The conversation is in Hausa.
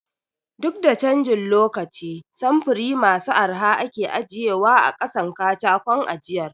Duk da canjin lokaci samfuri masu arha ake ajiye wa a ƙasan katakon ajiyar